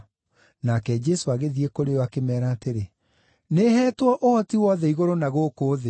Nake Jesũ agĩthiĩ kũrĩ o akĩmeera atĩrĩ, “Nĩheetwo ũhoti wothe igũrũ na gũkũ thĩ.